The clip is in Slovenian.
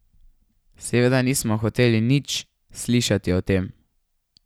Seveda nismo hoteli nič slišati o tem.